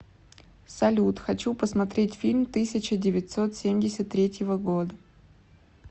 салют хочу посмотреть фильм тысяча девятьсот семьдесят третьего года